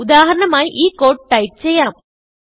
ഉദാഹരണമായി ഈ code type ചെയ്യാം